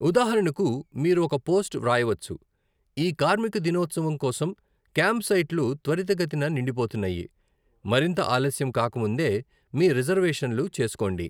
ఉదాహరణకు, మీరు ఒక పోస్ట్ వ్రాయవచ్చు, 'ఈ కార్మిక దినోత్సవం కోసం క్యాంప్ సైట్లు త్వరితగతిన నిండిపోతున్నాయి! మరింత ఆలస్యం కాక ముందే మీ రిజర్వేషన్లు చేసుకోండి!